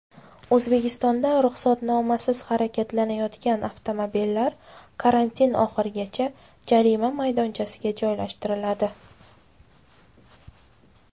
O‘zbekistonda ruxsatnomasiz harakatlanayotgan avtomobillar karantin oxirigacha jarima maydonchasiga joylashtiriladi .